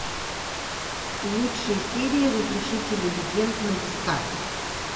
лучшие серии разрушителей легенд на дискавери